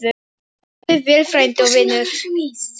Farðu vel, frændi og vinur.